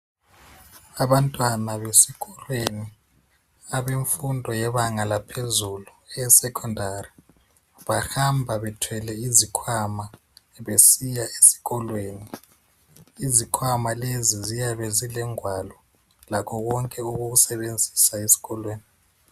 Abantwana besikolweni abemfundo yebanga laphezulu esecondary bahamba bethwele izikhwama esiya ezikholweni izikhwama leyi ziyabe zilengwalo lakho kwonke okokusebenziswa esikolweni